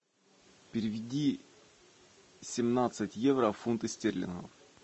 переведи семнадцать евро в фунты стерлингов